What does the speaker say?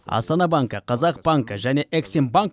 астана банкі қазақ банкі және эксим банк